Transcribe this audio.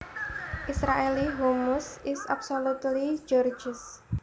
Israeli hummus is absolutely gorgeous